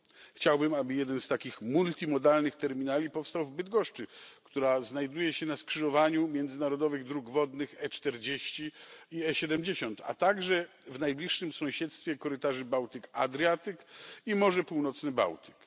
Chciałbym, aby jeden z takich multimodalnych terminali powstał w Bydgoszczy, która znajduje się na skrzyżowaniu międzynarodowych dróg wodnych E40 i E70, a także w najbliższym sąsiedztwie korytarzy Bałtyk Adriatyk i Morze Północne Bałtyk.